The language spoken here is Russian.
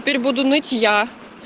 теперь буду ныть я